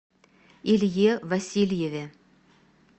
илье васильеве